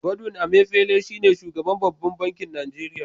Godwin Emefele shi ne Shugaban babban bankin Nigeria.